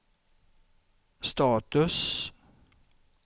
status